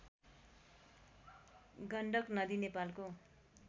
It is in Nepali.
गण्डक नदी नेपालको